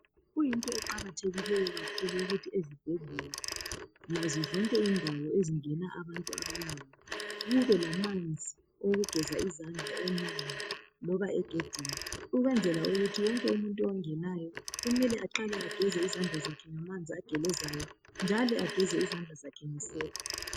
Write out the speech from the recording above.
Kuyinto eqakathekileyo kakhulu ukuthi ezibhedlela nazo zonke indawo ezingena abantu abaningi kube lamanzi owokufeza izandla emnyango loba egedini ukwenzela ukuthi wonke umuntu ongenayo kumele aqale agene izandla zakhe ngamanzi agelezayo njalo kumele ageze izandla zakhe ngesepa